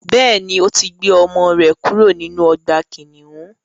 Bẹ́ẹ̀ni, ò tí gbé ọmọ rẹ̀ kúrò nínú ọgbà kìnnìún.